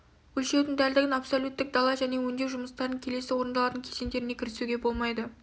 өлшеудің дәлдігін абсолюттік дала және өңдеу жұмыстарының келесі орындалатын кезеңдеріне кірісуге болмайды